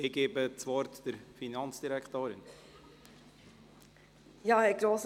Ich gebe der Finanzdirektorin das Wort.